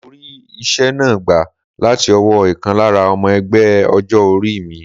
Mo rí ìṣe náà gbà láti ọwọ́ ìkan lára ọmọ ẹgbẹ́ ọjọ́ orí mi.